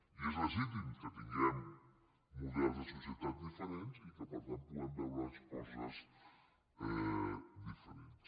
i és legítim que tinguem models de societat diferents i que per tant puguem veure les coses diferents